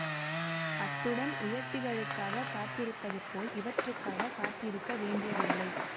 அத்துடன் உயர்த்திகளுக்காகக் காத்திருப்பதுபோல் இவற்றுக்காகக் காத்திருக்க வேண்டியதில்லை